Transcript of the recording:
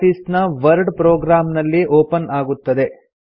office ನ Word program ನಲ್ಲಿ open ಆಗುತ್ತದೆ